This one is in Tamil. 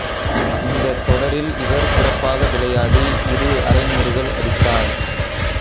இந்தத் தொடரில் இவர் சிறப்பாக விளையாடி இரு அரைநூறுகள் அடித்தார்